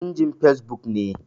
In jin Fesbuk ne.